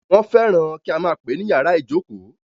Wọ́n fẹ́ràn kí a máà pè é ní ìyàrá ìjókó.